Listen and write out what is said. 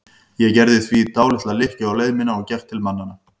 Ég gerði því dálitla lykkju á leið mína og gekk til mannanna.